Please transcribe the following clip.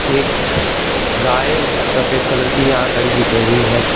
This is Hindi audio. एक गाय सफेद कलर की यहां खड़ी दिख रही है।